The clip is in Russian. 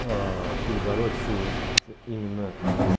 ээ перебороть всю вот именно